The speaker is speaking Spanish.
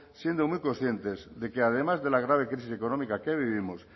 siendo muy conscientes de que además de la grave crisis económica que vivimos